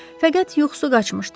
Fəqət yuxusu qaçmışdı.